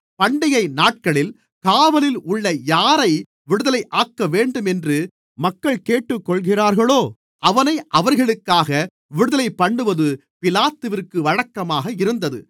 பண்டிகைநாட்களில் காவலில் உள்ள யாரை விடுதலையாக்கவேண்டும் என்று மக்கள் கேட்டுக் கொள்கிறார்களோ அவனை அவர்களுக்காக விடுதலைபண்ணுவது பிலாத்துவிற்கு வழக்கமாக இருந்தது